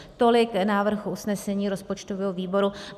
Tolik návrh usnesení rozpočtového výboru.